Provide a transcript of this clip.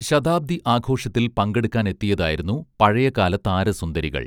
ശതാബ്ദി ആഘോഷത്തിൽ പങ്കെടുക്കാൻ എത്തിയതായിരുന്നു പഴയകാല താരസുന്ദരികൾ